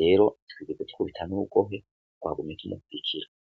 rero twigeza tkubitan'rugohe wagumye kinyakwikira.